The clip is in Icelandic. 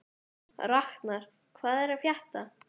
Raknar, hvað er að frétta?